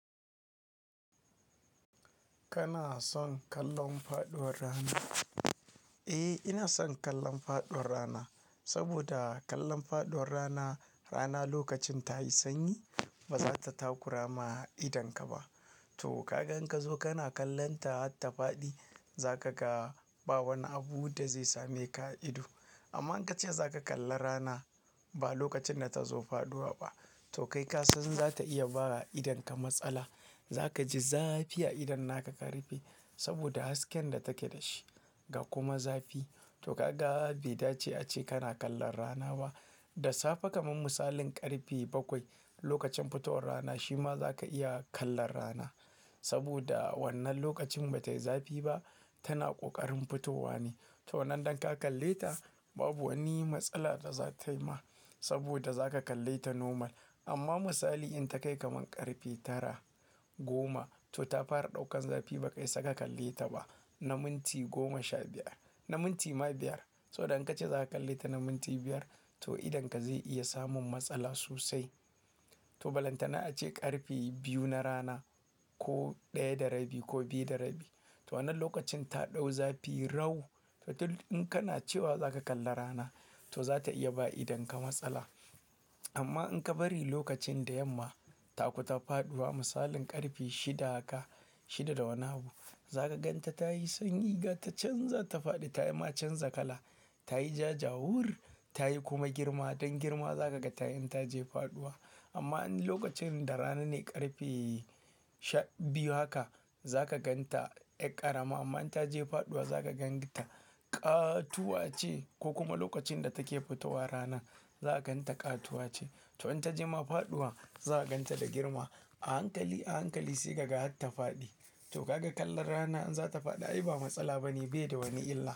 Kana son kallon faɗuwar rana? Eh, ina son kallon faɗuwar rana. Saboda kallon faɗuwar rana, rana lokacin ta yi sanyi ba za ta takura ma idonka ba. Toh! Kaga in ka zo kana kallonta har ta faɗi, za ka ga ba wani abu da zai same ka ido. Amma in ka ce za ka kalla rana ba lokacin da ta zo faɗuwa ba, to kai ka san za ta iya ba wa idonka matsala. Za ka ji zafi a idon naka karife saboda hasken da take da shi ga kuma zafi. To! Kaga bai dace a ce kana kallon rana ba. Da safe kaman misalin ƙarfe bakwai lokacin fitowar rana, shi ma za ka iya kallon rana saboda wannan lokacin ba ta yi zafi ba, tana ƙoƙarin fitowa ne. To wannan idan ka kalle ta babu wani matsala da za tayi ma saboda za ka kalle ta normal. Amma misali in ta kai kaman ƙarfe Tara, Goma to ta fara ɗaukan zafi ba ka iya saka kalle ta ba na minti Goma Sha biyar, na minti ma Biyar. To idan ka ce za ka kalle ta na minti Biyar to idonka zai iya samun matsala sosai. To balanta na a ce ƙarfe biyu na Rana ko ɗaya da Rabi ko Biyu da Rabi, to wannan lokacin ta ɗau zafi rau. To in kana cewa za ka kalli rana to za ta iya ba idonka matsala. Amma in ka bari lokacin da yamma ta kusa faɗuwa misalin ƙarfe Shida haka, Shida da wani abu, za ka gan ta tayi sanyi ga ta can za ta faɗi ta ma canza kala, ta yi ja jawur, ta yi kuma girma. Don girma za ka ga tayi in ta je faɗuwa. Amma in lokacin da rana ne ƙarfe Sha biyu haka za ka gan ta ƴar ƙarama amma in ta je faɗuwa za ka gan ta ƙatuwace, ko kuma lokacin da take fitowa rana za ka gan ta ƙatuwace. To in ta je ma faɗuwa za ka gan ta da girma a hankali, a hankali sai ka ga har ta faɗi. To kaga kallon rana in za ta faɗi ai ba matsala bane bai da wani illa.